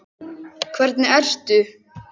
Hvernig ertu?